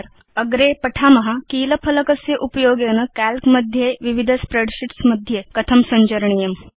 अग्रे वयं पठिष्याम कीलफ़लकस्य उपयोगेन काल्क मध्ये विविध स्प्रेडशीट्स् मध्ये सञ्चरणं कथं करणीयमिति